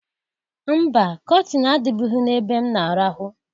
Mba! Kọtịn adịbụghị n'ebe m na-arahụ.